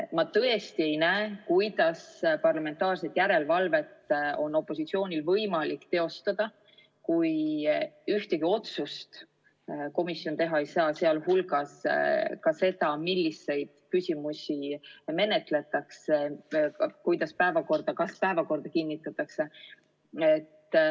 Ma tõesti ei näe, kuidas on opositsioonil võimalik parlamentaarset järelevalvet teostada, kui komisjon ühtegi otsust teha ei saa, sh otsustada, milliseid küsimusi menetletakse, kas päevakord kinnitatakse jne.